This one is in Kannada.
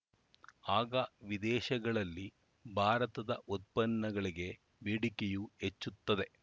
ಆಗ ವಿದೇಶಗಳಲ್ಲಿ ಭಾರತದ ಉತ್ಪನ್ನಗಳಿಗೆ ಬೇಡಿಕೆಯೂ ಹೆಚ್ಚುತ್ತದೆ